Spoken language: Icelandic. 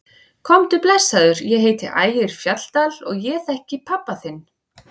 Komdu blessaður, ég heiti Ægir Fjalldal og ég þekki hann pabba þinn!